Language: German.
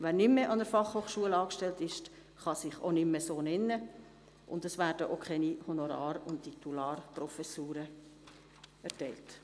Wer nicht mehr an der Fachhochschule angestellt ist, kann sich auch nicht mehr so nennen, und es werden auch keine Honorar- und Titularprofessuren erteilt.